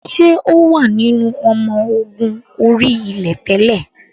Ṣé o wà nínú ọmọ ogun orí-ilẹ̀ tẹ́lẹ̀?